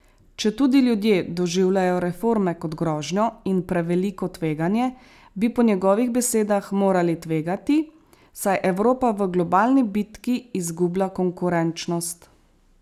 Četudi ljudje doživljajo reforme kot grožnjo in preveliko tveganje, bi po njegovih besedah morali tvegati, saj Evropa v globalni bitki izgublja konkurenčnost.